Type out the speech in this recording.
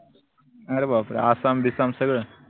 अरे बापरे आसाम बिसाम सगळ